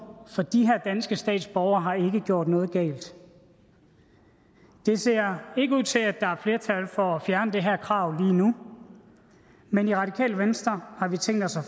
for de her danske statsborgere har ikke gjort noget galt det ser ikke ud til at der er flertal for at fjerne det her krav lige nu men i radikale venstre har vi tænkt os at